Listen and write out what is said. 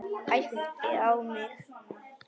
Æpti á mig.